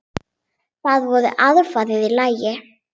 Það voru aðfarir í lagi!